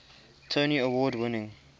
tony award winning